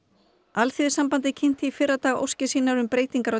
Alþýðusambandið kynnti í fyrradag óskir sínar um breytingar á